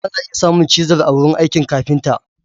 Ana iya samun chisel a wurin aikin kafinta.